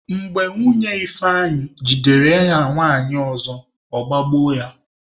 Mgbe Nwunye Ifeanyi jidere ya na nwanyị ọzọ, ọ gbagbuo ya.